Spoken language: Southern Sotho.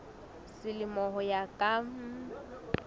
selemo ho ya ka mm